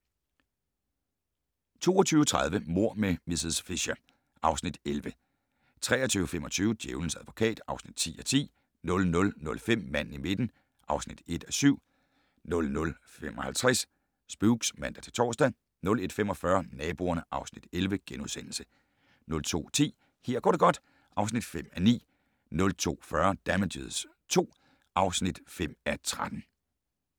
22:30: Mord med miss Fisher (Afs. 11) 23:25: Djævelens advokat (10:10) 00:05: Manden i midten (1:7) 00:55: Spooks (man-tor) 01:45: Naboerne (Afs. 11)* 02:10: Her går det godt (5:9) 02:40: Damages II (5:13)